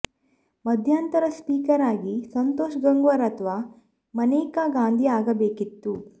ಮಧ್ಯಂತರ ಸ್ಪೀಕರ್ ಆಗಿ ಸಂತೋಷ್ ಗಂಗ್ವಾರ್ ಅಥವಾ ಮನೇಕಾ ಗಾಂಧಿ ಆಗಬೇಕಿತ್ತು